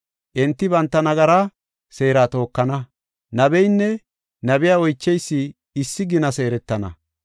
Enti banta nagara seera tookana; nabeynne nabiya oycheysi issi gina seeretana.